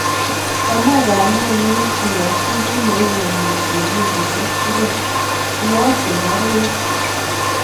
Komoe kamenyun keyokyi kin ne u emet en wikisyek tugul , iyokyin baruet